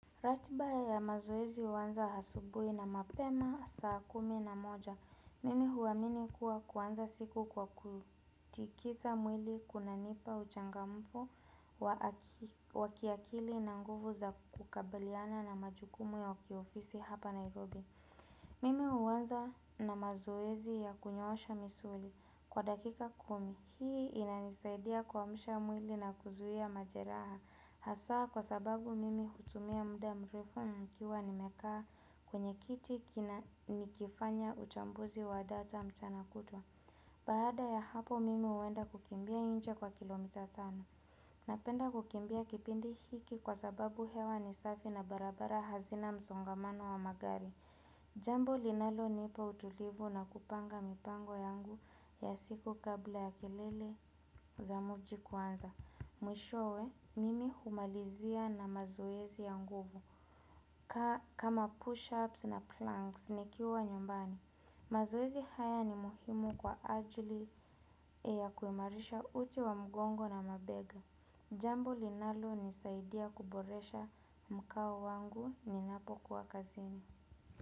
Ratiba ya mazoezi huanza asubuhi na mapema saa kumi na moja. Mimi huamini kuwa kuanza siku kwa kutikiza mwili kunanipa uchangamfu wakiakili na nguvu za kukabiliana na majukumu ya kiofisi hapa Nairobi. Mimi huanza na mazoezi ya kunyoosha misuli kwa dakika kumi. Hii inanisaidia kuamsha mwili na kuzuia majeraha. Hasa kwa sababu mimi hutumia mda mrefo nikiwa nimekaa kwenye kiti kina nikifanya uchambuzi wa data mchana kutwa. Baada ya hapo mimi huenda kukimbia nje kwa kilomita tano. Napenda kukimbia kipindi hiki kwa sababu hewa ni safi na barabara hazina msongamano wa magari. Jambo linalo nipa utulivu na kupanga mipango yangu ya siku kabla ya kelele za muji kuanza. Mwishowe, mimi humalizia na mazoezi ya nguvu kama push-ups na planks nikiwa nyumbani. Mazoezi haya ni muhimu kwa ajili ya kuimarisha uti wa mgongo na mabega. Jambo linalonisaidia kuboresha mkao wangu ninapokuwa kazini.